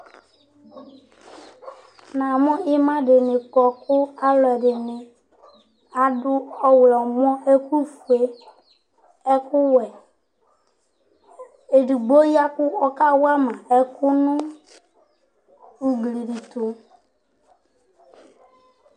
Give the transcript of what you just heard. Namu ima dìní kɔ kʋ alʋɛdìní adu ɔwlɔmɔ, ɛku fʋe, ɛku wɛ Ɛdigbo ya kʋ ɔka wama ɛku nu ʋgli tu